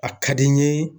A ka di n ye